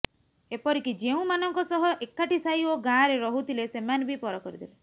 ଏପରିକି ଯେଉଁମାନଙ୍କ ସହ ଏକାଠି ସାହି ଓ ଗାଁରେ ରହୁଥିଲେ ସେମାନେ ବି ପର କରିଦେଲେ